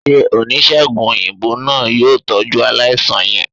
se onisegùn oyinbo naa, yoo tọju alaisan yẹn?